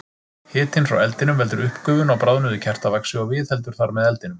Hitinn frá eldinum veldur uppgufun á bráðnuðu kertavaxi og viðheldur þar með eldinum.